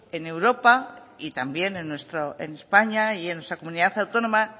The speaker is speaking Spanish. en europa y también en españa y en nuestra comunidad autónoma